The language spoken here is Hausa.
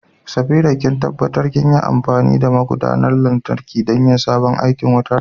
Safira, ki tabbatar kinyi amfani da magudanar lantarki don yin sabon aikin wutar.